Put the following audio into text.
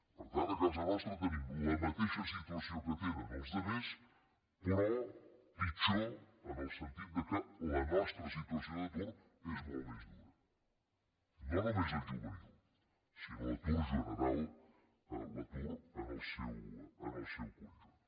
per tant a casa nostra tenim la mateixa situació que tenen els altres però pitjor en el sentit que la nostra situació d’atur és molt més dura no només el juvenil sinó l’atur general l’atur en el seu conjunt